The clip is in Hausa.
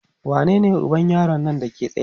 wanene uban yaron Nan Dake tsaye?